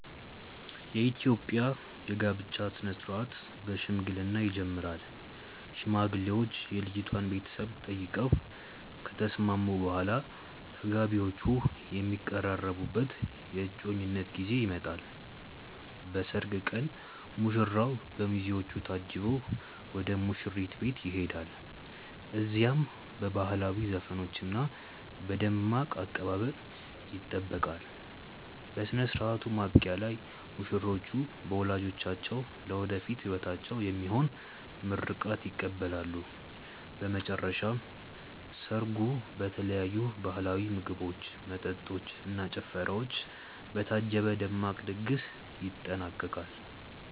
የኢትዮጵያ የጋብቻ ሥነ ሥርዓት በሽምግልና ይጀምራል። ሽማግሌዎች የልጅቷን ቤተሰቦች ጠይቀው ከተስማሙ በኋላ፣ ተጋቢዎቹ የሚቀራረቡበት የእጮኝነት ጊዜ ይመጣል። በሰርግ ቀን ሙሽራው በሚዜዎቹ ታጅቦ ወደ ሙሽሪት ቤት ይሄዳል። እዚያም በባህላዊ ዘፈኖችና በደማቅ አቀባበል ይጠበቃል። በሥነ ሥርዓቱ ማብቂያ ላይ ሙሽሮች በወላጆቻቸው ለወደፊት ሕይወታቸው የሚሆን ምርቃት ይቀበላሉ። በመጨረሻም ሰርጉ በተለያዩ ባህላዊ ምግቦች፣ መጠጦች እና ጭፈራዎች በታጀበ ደማቅ ድግስ ይጠናቀቃል።